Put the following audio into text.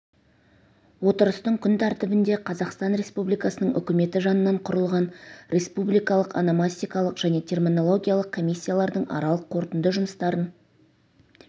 отырыстың күн тәртібінде қазақстан республикасының үкіметі жанынан құрылған республикалық ономастикалық және терминологиялық комиссиялардың аралық қорытынды жұмыстарын